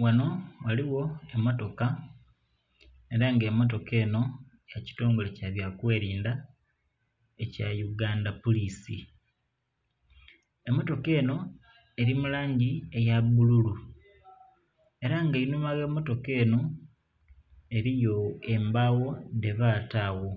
Ghanho ghaligho emmotoka era nga emmotoka enho yakitongole kyabya kwelidha ekya uganda pulisi. Emmotoka enho eri mulangi eya bululu era nga enhuma ogh'emmotoka enho eliyo embagho dhebata agho,